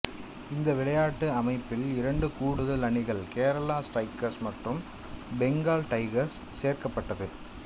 இந்த விளயாட்டு அமைப்பில் இரண்டு கூடுதல் அணிகள் கேரள ஸ்ட்ரைக்கர் மற்றும் பெங்காள் டைகர்ஸ் சேர்க்கப்பட்டது